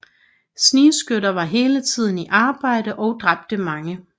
Snigskytter var hele tiden i arbejde og dræbte mange